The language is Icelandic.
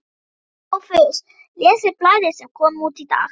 SOPHUS: Lesið blaðið sem kom út í dag.